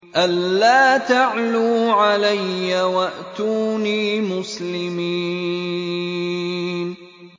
أَلَّا تَعْلُوا عَلَيَّ وَأْتُونِي مُسْلِمِينَ